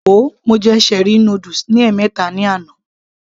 Wo, mo jẹ cherie noodles ní ẹ̀mẹta ní àná